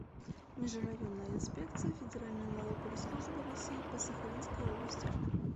межрайонная инспекция федеральной налоговой службы россии по сахалинской области